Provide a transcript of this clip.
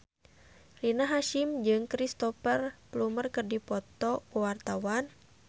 Rina Hasyim jeung Cristhoper Plumer keur dipoto ku wartawan